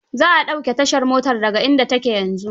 Za a ɗauke tashar motar da ga inda ta ke yanzu.